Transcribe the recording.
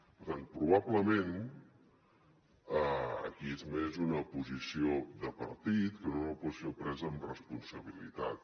per tant probablement és més una posició de partit que no una posició presa amb responsabilitat